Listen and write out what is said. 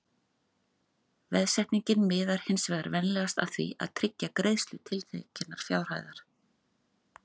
Veðsetningin miðar hins vegar venjulega að því að tryggja greiðslu tiltekinnar fjárhæðar.